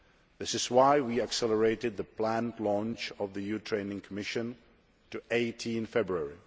This is why we accelerated the planned launch of the EU Training Mission to 18 February.